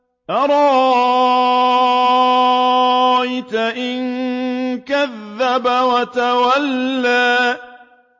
أَرَأَيْتَ إِن كَذَّبَ وَتَوَلَّىٰ